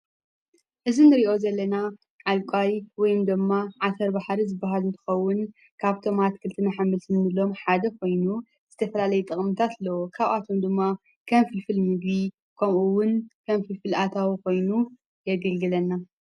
እዝንሪዮ ዘለና ኣልቋይ ወይም ደማ ዓተር ባሕሪ ዝበሃዝንትኸውን ካብቶማት ክልቲመሓምልትምሎም ሓደ ኾይኑ ዝተፈላለይ ጠቕምታትለዎ ካብኣቶም ድማ ከምፊፍልሚድ ኮምኡውን ከምፊ ፍልኣታዊ ኾይኑ የገግለና።